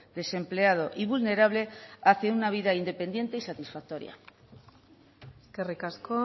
desempleado y vulnerable hacía una vida independiente y satisfactoria eskerrik asko